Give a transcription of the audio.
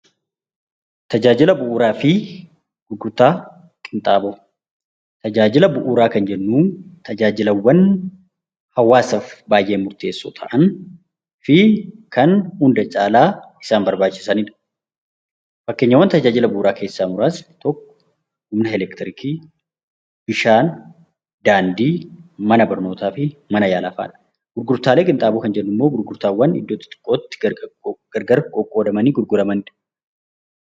Tajaajila Bu'uuraa fi Gurgurtaa Qinxaaboo Tajaajila Bu'uuraa kan jennuu tajaajilaawwan hawaasaaf baay'ee murteessoo ta'anii fi kan hunda caalaa isaan barbaachisani dha. Fakkeenyaawwan tajaajila Bu'uuraa keessaa muraasni tokko Humna elektiriikii, Bishaan, Daandii, Mana barnootaa fi Mana yaalaa fa'aa dha. Gurgurtaalee Qinxaaboo kan jennu immoo gurgurtaawwan iddoo xixiqqoo tti gargar qoqqoodamani gurguramani dha.